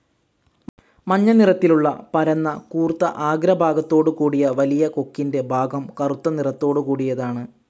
മഞ്ഞ നിറത്തിലുള്ള പരന്ന കൂർത്ത ആഗ്ര ഭാഗത്തോട്കൂടിയ വലിയ കൊക്കിന്റെ ഭാഗം കറുത്ത നിറതൊടുകൂടിയതാണ്.